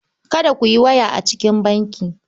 Kada ku yi waya a cikin banki.